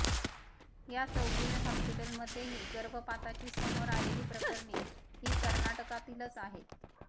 या चौगुले हॉस्पिटलमध्येही गर्भपाताची समोर आलेली प्रकरणे ही कर्नाटकातीलच आहेत